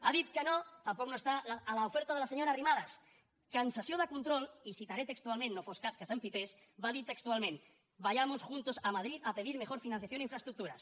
ha dit que no tampoc no hi és a l’oferta de la senyora arrimadas que en sessió de control i ho citaré textualment no fos cas que s’empipés va dir textualment vayamos juntos a madrid a pedir mejor financiación e infraestructuras